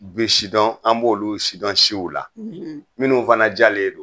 Be sidɔn an b'olu sidɔn siw la minnu fana jalen don